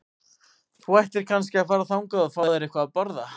Þú ættir kannski að fara þangað og fá þér eitthvað að borða.